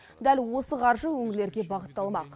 дәл осы қаржы өңірлерге бағытталмақ